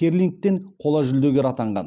керлингтен қола жүлдегері атанған